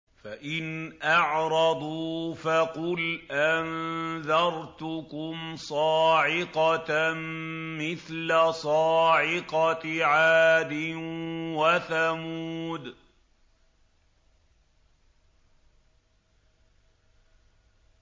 فَإِنْ أَعْرَضُوا فَقُلْ أَنذَرْتُكُمْ صَاعِقَةً مِّثْلَ صَاعِقَةِ عَادٍ وَثَمُودَ